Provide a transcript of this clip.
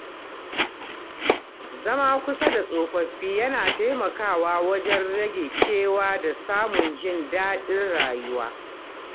Zama kusa da tsofaffi yana taimakawa wajen rage kewa da samun jin daɗin rayuwa.